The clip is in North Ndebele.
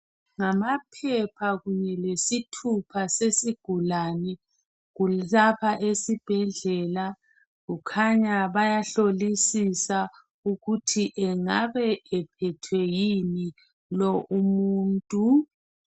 Ngamaphepha kunye lesithupha sesigulane kulapha esibhedlela ukukhanya bayahlolisisa ukuthi engabe ephethwe yini lo umuntu.